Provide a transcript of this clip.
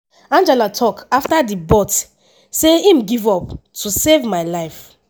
angela tok afta di bout say im give up “to save my life.”